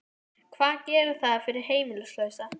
Ingimar: Varst þú beittur þrýstingi?